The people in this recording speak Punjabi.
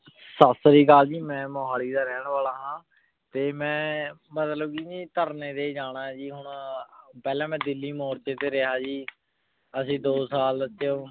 ਸਾਸਰੀਕਾਲ ਜੀ ਮੈਂ ਮੋਹਾਲੀ ਦਾ ਰੇਹਾਨ ਵਾਲਾ ਹਾਂ ਤੇ ਮੈਂ ਮਤਲਬ ਕੇ ਭਾਈ ਧਰਨੇ ਤੇ ਜਾਣਾ ਹੈ ਹੁਣ ਪੇਹ੍ਲਾਂ ਮੈਂ ਦਿੱਲੀ ਮੋਰਚੇ ਤੇ ਰਹ੍ਯ ਜੀ ਦੋ ਸਾਲ ਤੇ ਹੁਣ